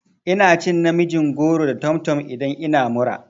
Ina cin namijin goro da tomtom idan ina mura.